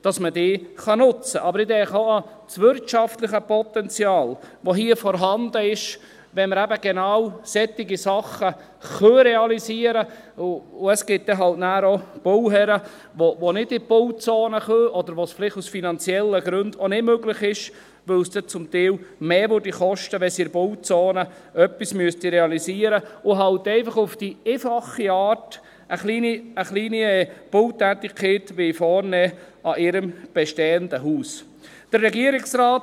Aber ich denke auch an das wirtschaftliche Potenzial, das hier vorhanden ist, wenn wir eben genau solche Sachen realisieren können, und es gibt dann halt nachher auch Bauherren, die nicht in der Bauzone bauen können oder wo es vielleicht aus finanziellen Gründen auch nicht möglich ist, weil es dann zum Teil mehr kosten würde, wenn sie in der Bauzone etwas realisieren müssten, und halt einfach auf die einfache Art eine kleine Bautätigkeit an ihrem bestehenden Haus vornehmen wollen.